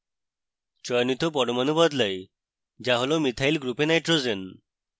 চয়নিত পরমাণু বদলাই যা হল মিথাইল গ্রুপে nitrogen